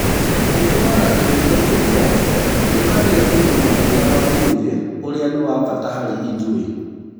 Ìtũmaga twende kũrĩa tũkagĩa ũgima mwega wa mwĩrĩ ũrĩa nĩ wa bata harĩ ithuĩ.